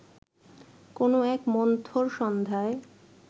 কোনো এক মন্থর সন্ধ্যায়